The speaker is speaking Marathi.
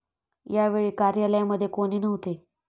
या वेळी कार्यालयामध्ये कोणी नव्हते.